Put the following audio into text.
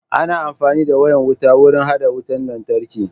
Ana amfani da wayan wuta wurin hada wutan lantarki.